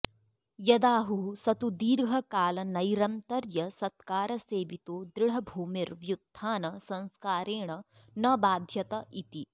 यदाहुः स तु दीर्घकालनैरन्तर्यसत्कारसेवितो दृढभूमिर्व्युत्थानसंस्कारेण न बाध्यत इति